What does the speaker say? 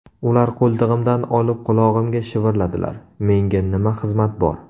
Ular qo‘ltig‘imdan olib qulog‘imga shivirladilar: Menga nima xizmat bor?